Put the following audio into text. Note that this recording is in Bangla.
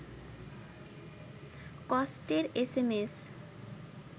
কষ্টের এস এম এস